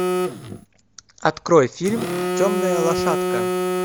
открой фильм темная лошадка